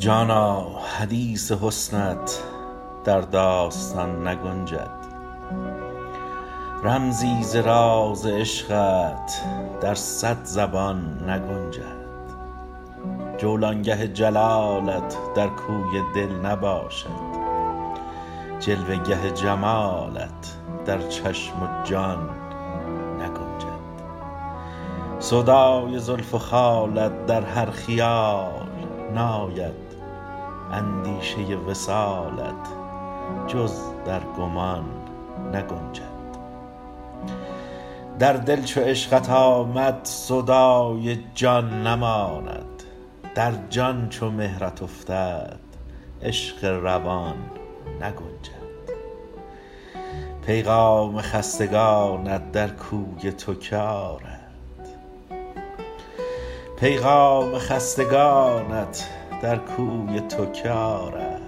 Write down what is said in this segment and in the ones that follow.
جانا حدیث حسنت در داستان نگنجد رمزی ز راز عشقت در صد زبان نگنجد جولانگه جلالت در کوی دل نباشد جلوه گه جمالت در چشم و جان نگنجد سودای زلف و خالت در هر خیال ناید اندیشه وصالت جز در گمان نگنجد در دل چو عشقت آمد سودای جان نماند در جان چو مهرت افتد عشق روان نگنجد پیغام خستگانت در کوی تو که آرد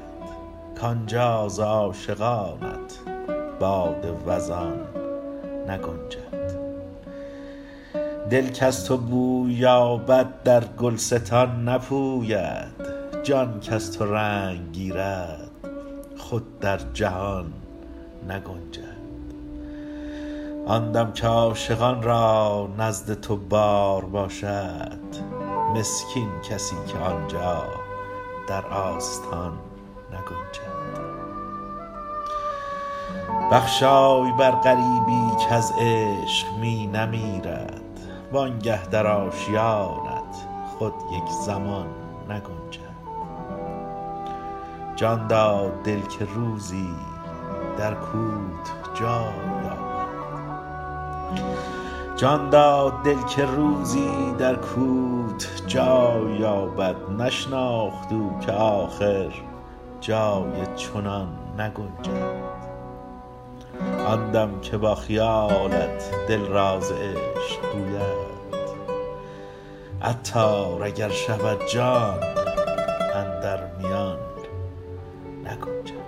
کانجا ز عاشقانت باد وزان نگنجد دل کز تو بوی یابد در گلستان نپوید جان کز تو رنگ گیرد خود در جهان نگنجد آن دم که عاشقان را نزد تو بار باشد مسکین کسی که آنجا در آستان نگنجد بخشای بر غریبی کز عشق می نمیرد وانگه در آشیانت خود یک زمان نگنجد جان داد دل که روزی در کوت جای یابد نشناخت او که آخر جای چنان نگنجد آن دم که با خیالت دل راز عشق گوید عطار اگر شود جان اندر میان نگنجد